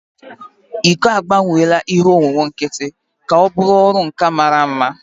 iko agbanweela ihe owuwu nkịtị ka ọ bụrụ ọrụ nka mara mma